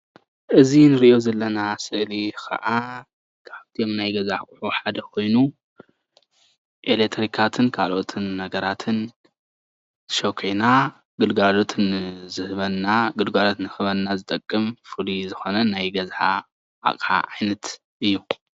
እዚ ንሪኦ ዘለና ስእሊ ከዓ ካብቶም ናይ ገዛ ኣቑሑ ሓደ ኮይኑ ኤሌትሪካትን ካልኣት ነገራትን ሽኪዕና ግልጋሎት ንክህበና ዝጠቅም ፍሉይ ዝኾነ ናይ ገዛ አቕሓ ዓይነት እዩ።